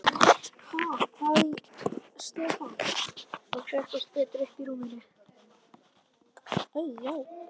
Ha?! hváði Stefán og settist betur upp í rúminu.